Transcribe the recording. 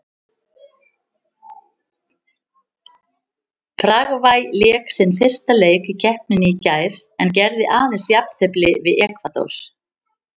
Paragvæ lék sinn fyrsta leik í keppninni í gær en gerði aðeins jafntefli við Ekvador.